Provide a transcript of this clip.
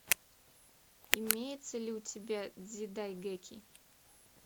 имеется ли у тебя дзидайгэки